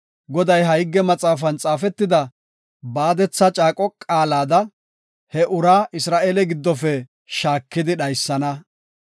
Goday ha higge maxaafan xaafetida baadetha caaqo qaalada he uraa Isra7eele giddofe shaakidi dhaysana.